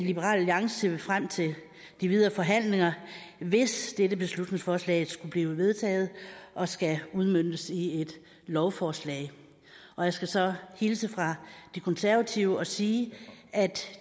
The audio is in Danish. liberal alliance ser vi frem til de videre forhandlinger hvis dette beslutningsforslag skulle blive vedtaget og skal udmøntes i et lovforslag jeg skal så hilse fra de konservative og sige at